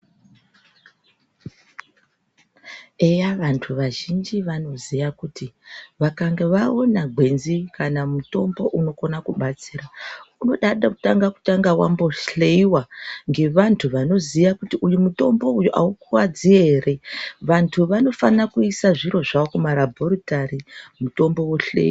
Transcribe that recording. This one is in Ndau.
Eya vanhu vazhinji vanoziya kuti vakange vaona gwenzi kana mutombo unokona kubatsira unoda kumbotanga wambohleiwa ngevantu vanoziya kuti uyu mutombo uyu aukuvadzi ere. Vanhu vanofanire kuise zviro zvawo kumarabhoritari mitombo yohloyiwa